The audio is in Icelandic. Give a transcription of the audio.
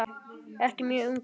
Ekki mjög ungur.